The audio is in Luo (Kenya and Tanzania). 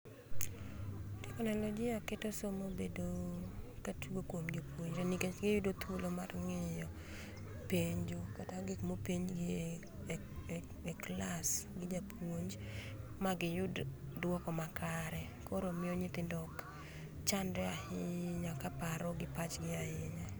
Teknolojia keto somo bedo katugo kuom jopuonjre nikech giyudo thuolo mar ng'iyo penjo kata gik mopenjgi e e klas gi japuonj magiyud duoko makare koro miyo nyithindo okchandre ahinya kaparo gi pachgi ahinya.